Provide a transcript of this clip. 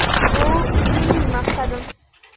Bu mening maqsadim.